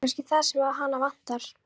Það er kannski það sem hana vantar.